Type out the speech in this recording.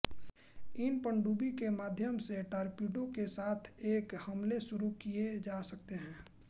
इस पनडुब्बी के माध्यम से टारपीडो के साथ एक हमले शुरू किए जा सकते है